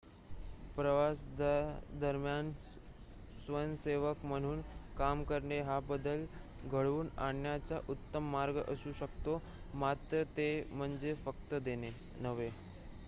प्रवासादरम्यान स्वयंसेवक म्हणून काम करणे हा बदल घडवून आणण्याचा उत्तम मार्ग असू शकतो मात्र ते म्हणजे फक्त देणे नव्हे